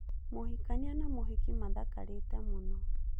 Mũhikania na mũhiki maathakarĩtĩ mũno.